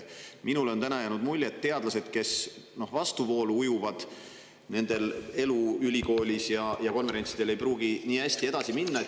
Minule on täna jäänud mulje, et sellele vastuvoolu ujuvate teadlaste elu ülikoolis ja konverentsidel ei pruugi nii hästi edaspidi kulgeda.